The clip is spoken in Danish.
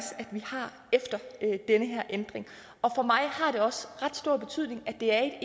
efter den her ændring og for mig har det også ret stor betydning at det er